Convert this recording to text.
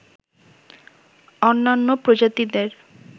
অন্যান্য প্রজাতিদের